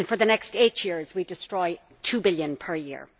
and for the next eight years, we destroy EUR 2 billion per year.